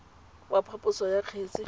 wa phaposo ya kgetse mo